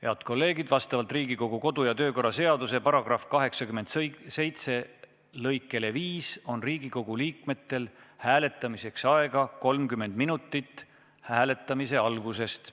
Head kolleegid, vastavalt Riigikogu kodu- ja töökorra seaduse § 87 lõikele 5 on Riigikogu liikmetel hääletamiseks aega 30 minutit hääletamise algusest.